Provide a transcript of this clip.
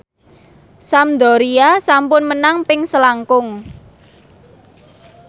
Sampdoria sampun menang ping selangkung